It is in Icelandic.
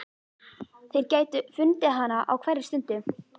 Þeir gætu fundið hana á hverri stundu.